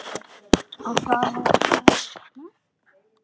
Og það fór að rigna.